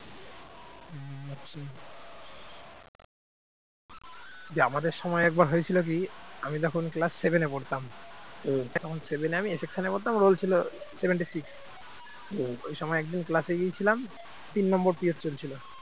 যে আমাদের সময় একবার হয়েছিল কি আমি তখন class seven পড়তাম seven আমি a section পড়তাম roll ছিল seventy six ওই সময় একদিন class গিয়েছিলাম। তিন number period চলছিল